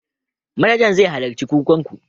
Manajan zai halarci kokan ku.